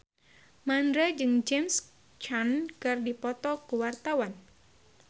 Mandra jeung James Caan keur dipoto ku wartawan